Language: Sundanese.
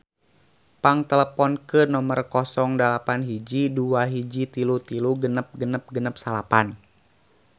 Pang teleponkeun nomer 08121336669